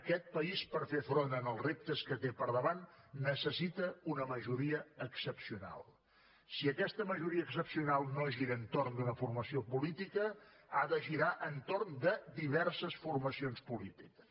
aquest país per fer front als reptes que té al davant necessita una majoria excepcional si aquesta majoria excepcional no gira entorn d’una formació política ha de girar entorn de diverses formacions polítiques